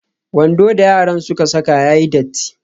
Wando da yaran suka saka ya yi datti.